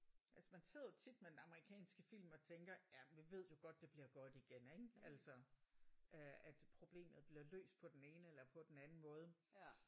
Altså man sidder jo tit med en amerikanske film og tænker jamen vi ved jo godt det bliver godt igen ik altså øh at problemet bliver løst på den ene eller på den anden måde